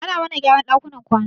Ana mana gyaran ɗakunan kwana